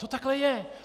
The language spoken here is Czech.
To takhle je.